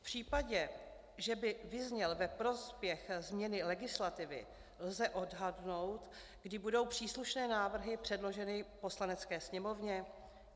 V případě, že by vyzněl ve prospěch změny legislativy, lze odhadnout, kdy budou příslušné návrhy předloženy Poslanecké sněmovně?